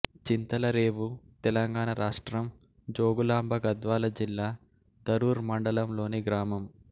చింతరేవుల తెలంగాణ రాష్ట్రం జోగులాంబ గద్వాల జిల్లా ధరూర్ మండలంలోని గ్రామం